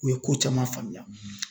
U ye ko caman faamuya